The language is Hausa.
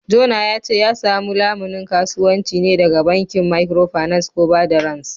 Jona ya ce ya samu lamunin kasuwanci ne daga bankin Microfinance ko bada rance